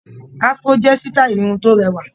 Afro jẹ́ sítáì irun tó rẹwà.